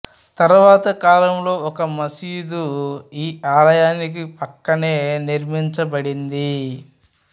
తర్వాత కాలంలో ఒక మసీదు ఈ ఆలయానికి పక్కనే నిర్మించబడింది